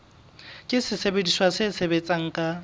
ke sesebediswa se sebetsang ka